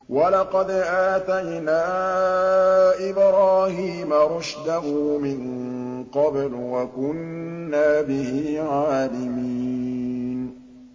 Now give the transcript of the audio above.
۞ وَلَقَدْ آتَيْنَا إِبْرَاهِيمَ رُشْدَهُ مِن قَبْلُ وَكُنَّا بِهِ عَالِمِينَ